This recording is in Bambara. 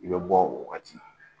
I bɛ bɔ o wagati